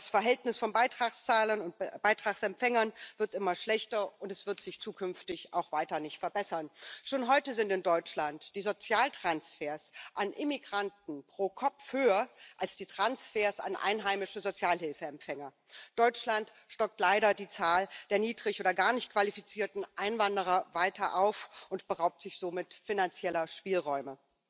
Das Verhältnis von Beitragszahlern und bei Beitragsempfängern wird immer schlechter und es wird sich zukünftig auch weiter nicht verbessern. Schon heute sind in Deutschland die Sozialtransfers an Immigranten pro Kopf höher als die Transfers an einheimische Sozialhilfeempfänger. Deutschland stockt leider die Zahl der niedrig oder gar nicht qualifizierten Einwanderer weiter auf und beraubt sich somit finanzieller Spielräume.